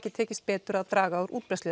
tekist betur að draga úr útbreiðslu